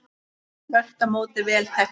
Þvert á móti vel þekkt.